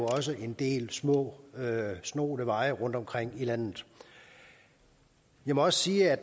også en del små snoede veje rundtomkring i landet jeg må også sige at